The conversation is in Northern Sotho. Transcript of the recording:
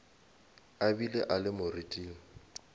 a be a le moriting